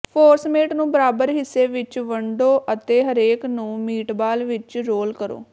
forcemeat ਨੂੰ ਬਰਾਬਰ ਹਿੱਸੇ ਵਿਚ ਵੰਡੋ ਅਤੇ ਹਰੇਕ ਨੂੰ ਮੀਟਬਾਲ ਵਿਚ ਰੋਲ ਕਰੋ